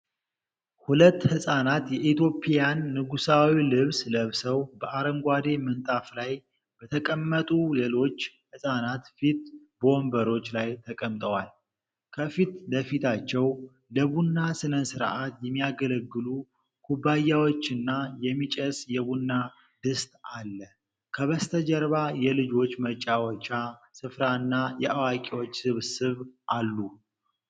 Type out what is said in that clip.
ሁለት ህፃናት የኢትዮጵያን ንጉሣዊ ልብስ ለብሰው፣ በአረንጓዴ ምንጣፍ ላይ በተቀመጡ ሌሎች ህፃናት ፊት በወንበሮች ላይ ተቀምጠዋል። ከፊት ለፊታቸው ለቡና ሥነ ሥርዓት የሚያገለግሉ ኩባያዎችና የሚጨስ የቡና ድስት አለ። ከበስተጀርባ የልጆች መጫወቻ ስፍራና የአዋቂዎች ስብስብ አሉ።